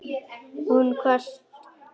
Hún kvaðst geta það.